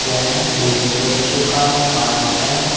यह एक बच्चों का पार्क है।